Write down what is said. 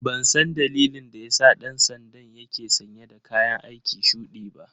Ban san dalilin da ya sa ɗan sandan ke sanye dakayan aiki shuɗi ba.